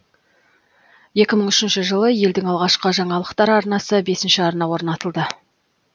екі мың үшінші жылы елдің алғашқы жаңалықтар арнасы бесінші арна орнатылды